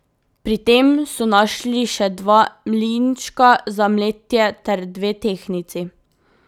Pri tem so našli še dva mlinčka za mletje ter dve tehtnici.